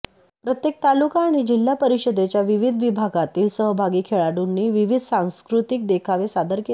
प्रत्येक तालुका आणि जिल्हा परिषदेच्या विविध विभागातील सहभागी खेळाडूंनी विविध सांस्कृतिक देखावे सादर केले